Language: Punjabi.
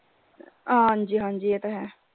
ਹਾਂਜੀ ਹਾਂਜੀ ਇਹ ਤਾਂ ਹੈ।